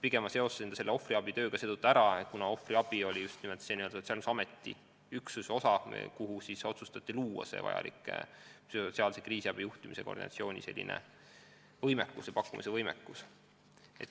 Pigem ma seostasin seda ohvriabitööga seetõttu, et ohvriabi on olnud just nimelt selle Sotsiaalkindlustusameti üksuse töövaldkond, kuhu otsustati luua psühhosotsiaalse kriisiabi juhtimise ja koordineerimise võimekus.